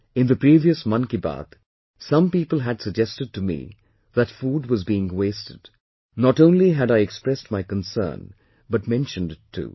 In the previous 'Mann Ki Baat', some people had suggested to me that food was being wasted; not only had I expressed my concern but mentioned it too